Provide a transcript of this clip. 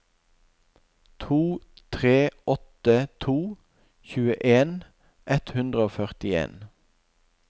to tre åtte to tjueen ett hundre og førtien